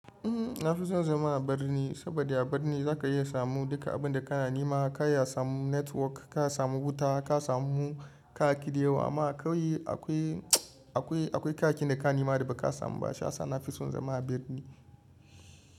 Uhm, na fi son zama a birni saboda a birni za ka iya samun duka abin da kana nima. Ka ya samu network, ka samu wuta, ka samu kaki da yawa. Amma kawai akwai, akwai, akwai kakin da ka nima da ba ka samu ba. Sha sani na fi son zama a birni.